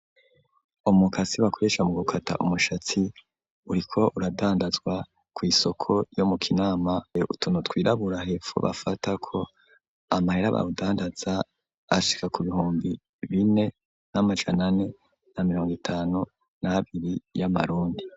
Umukasi bakoresha mu gukata umushatsi, uriko uradandazwa kw'isoko ryo mu Kinama, hariko utuntu wirabura hepfo bafatako. Amahera bawudandazako ashika ku bihumbi bine n'amajana ane na mirongo itanu n'abiri y'amarundi.